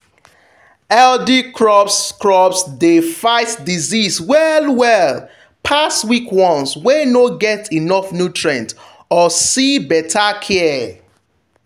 healthy crops crops dey fight disease well well pass weak ones wey no get enough nutrients or see better care.